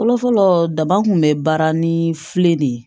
Fɔlɔfɔlɔ daban kun bɛ baara ni file de ye